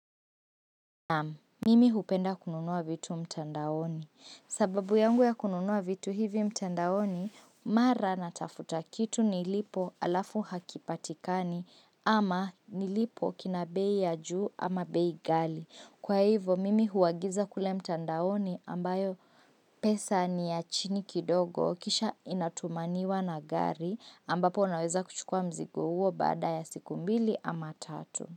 Naam mimi hupenda kununua vitu mtandaoni sababu yangu ya kununua vitu hivi mtandaoni mara natafuta kitu nilipo alafu hakipatikani ama nilipo kina bei ya juu ama bei ghali kwa hivo mimi huagiza kule mtandaoni ambayo pesa ni ya chini kidogo kisha inatumaniwa na gari ambapo unaweza kuchukua mzigo huo baada ya siku mbili ama tatu.